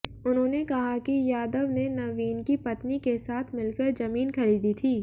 उन्होंने कहा कि यादव ने नवीन की पत्नी के साथ मिलकर जमीन खरीदी थी